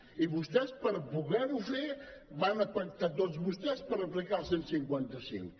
i vostès per poder ho fer van pactar tots vostès per aplicar el cent i cinquanta cinc